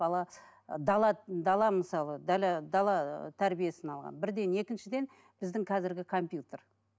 бала ы дала дала мысалы дала тәрбиесін алған бірден екіншіден біздің қазіргі компьютер